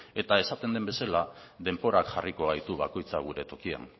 eta esaten den bezala denborak jarriko gaitu bakoitza gure tokian